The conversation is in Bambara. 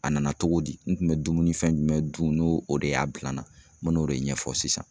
A nana cogo di, n kun bɛ dumuni fɛn jumɛn dun n'o o de y'a bila n na ,n bɛ n'o de ɲɛfɔ sisan.